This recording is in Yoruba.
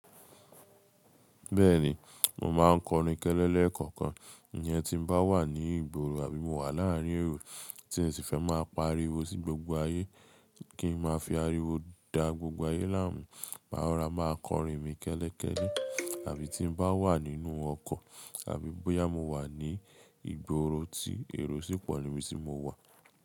Bẹ́ẹ̀ni, mo máa ń kọrin kẹ́lẹ́lẹ́ lẹkankan. Ìyẹn tí n bá wà ní ìgboro àbí mo wà láàárín èrò tí n ṣi fẹ́ máa pariwo sí gbogbo ayé, kí n máa fi ariwo dá gbogbo ayé láàmú. Ma rọra máa ń kọrin mi kẹ́lẹ́kẹ́lẹ́. Àbí tí n bá wà nínú ọkọ̀ àbí bóyá mo wà ní ìgboro tí èrò ṣì pọ̀ ni bí tí mo wà.